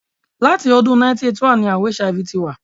Láti ọdún 1981 ní àrùn HIV ti wà.